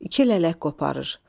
İki lələk qoparır.